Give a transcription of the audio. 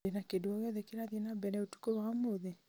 ndĩ na kĩndũ o gĩothe kĩrathiĩ nambere ũtũkũ wa ũmũthĩ